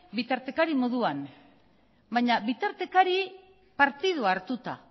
bitartekari moduan baina bitartekari partidua hartuta